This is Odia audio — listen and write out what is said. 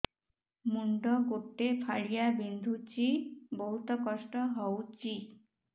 ମୁଣ୍ଡ ଗୋଟେ ଫାଳିଆ ବିନ୍ଧୁଚି ବହୁତ କଷ୍ଟ ହଉଚି